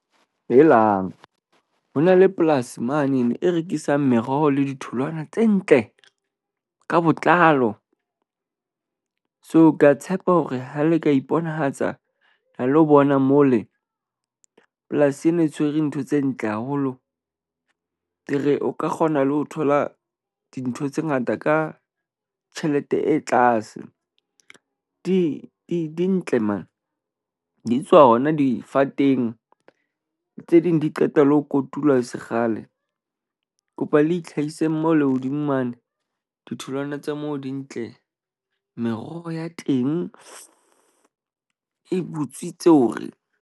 Helang, ho na le polasi mane e rekisang meroho le ditholwana tse ntle ka botlalo. So ke a tshepa hore ha le ka iponahatsa ho lo bona mole, polasi ena e tshwere ntho tse ntle haholo. Ke re o ka kgona le ho thola dintho tse ngata ka tjhelete e tlase. Di di di ntle mane di tswa hona difateng. Tse ding di qeta le ho kotulwa e se kgale. Ke kopa le itlhahise mole hodimo mane, ditholwana tsa mo di ntle. Meroho ya teng e butswitse hore.